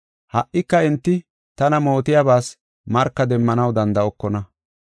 Ha77ika enti tana mootiyabas marka demmanaw danda7okona.